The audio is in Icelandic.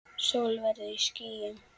Sól veður í skýjum.